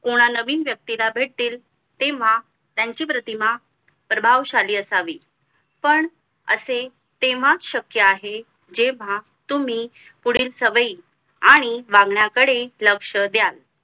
कोणा नवीन व्यती ला भेटीला तेव्हा त्यांची प्रतिमा प्रभावशाली असावी पण असे तेव्हाच शक्य आहे जेव्हा तुम्ही पुढील सवई आणि वागण्याकडे लक्ष्य द्याल